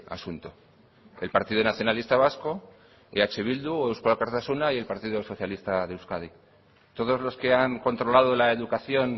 asunto el partido nacionalista vasco eh bildu eusko alkartasuna y el partido socialista de euskadi todos los que han controlado la educación